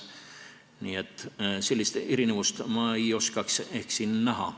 Nii et sellist erinevust ei oskaks ma ehk siin näha.